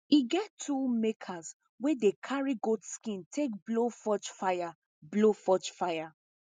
e get tool makers wey dey carry goat skin take blow forge fire blow forge fire